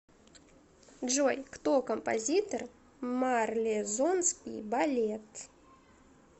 джой кто композитор марлезонский балет